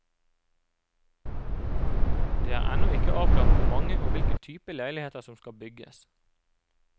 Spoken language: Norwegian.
Det er ennå ikke avklart hvor mange og hvilken type leiligheter som skal bygges.